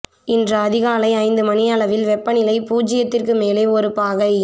இன்று அதிகாலை ஐந்து மணியளவில் வெப்பநிலை போச்சியத்திற்கு மேலே ஒரு பாகை